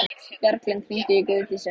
Bjarglind, hringdu í Guðdísi.